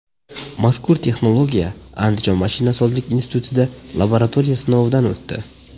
Mazkur texnologiya Andijon mashinasozlik institutida laboratoriya sinovidan o‘tdi.